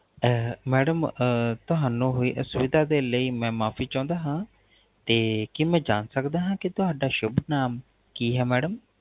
ਅਹ Madam ਅਹ ਤੁਹਾਨੂ ਹੋਈ ਅਸੁਵਿਦਾ ਦੇ ਲਈ ਮੈ ਮਾਫ਼ੀ ਚੌਂਦਾ ਹਾਂ ਤੇ ਕੀ ਮੈ ਜਾਣ ਸਕਦਾ ਹਾਂ ਕੀ ਤੁਹਾਡਾ ਸ਼ੁਭ ਨਾਮ ਕੀ ਹੈ Madam